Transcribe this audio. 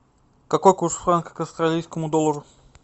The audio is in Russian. какой курс франка к австралийскому доллару